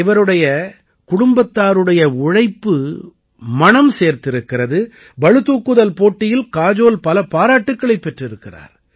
இவருடைய குடும்பத்தாருடைய உழைப்பு மணம் சேர்த்திருக்கிறது பளு தூக்குதல் போட்டியில் காஜோல் பல பாராட்டுக்களைப் பெற்றிருக்கிறார்